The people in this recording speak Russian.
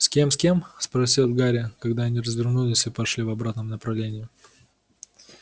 с кем с кем спросил гарри когда они развернулись и пошли в обратном направлении